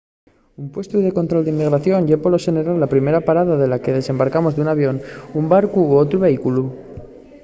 un puestu de control d’inmigración ye polo xeneral la primera parada de la que desembarcamos d’un avión un barcu o otru vehículu